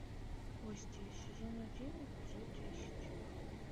кости сезон один эпизод десять